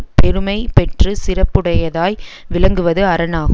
பெருமை பெற்று சிறப்புடையதாய் விளங்குவது அரண் ஆகு